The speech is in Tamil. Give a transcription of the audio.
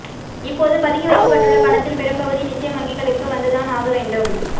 இப்போது பதுக்கி வைக்கப்பட்டுள்ள பணத்தில் பெரும்பகுதி நிச்சயம் வங்கிகளுக்கு வந்துதான் ஆக வேண்டும்